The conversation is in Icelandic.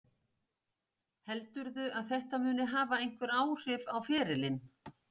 Heldurðu að þetta muni hafa einhver áhrif á ferilinn?